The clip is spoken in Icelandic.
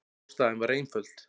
Ástæðan var einföld.